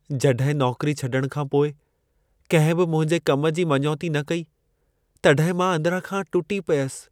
जॾहिं नौकरी छॾण खां पोइ कंहिं बि मुंहिंजे कम जी मञौती न कई, तॾहिं मां अंदिरां खां टुटी पियसि।